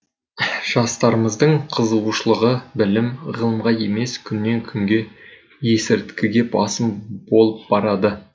жастарымыздың қызығушылығы білім ғылымға емес күннен күнге есірткіге басым болып барады